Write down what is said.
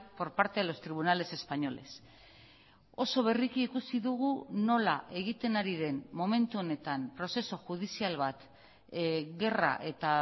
por parte de los tribunales españoles oso berriki ikusi dugu nola egiten ari den momentu honetan prozesu judizial bat gerra eta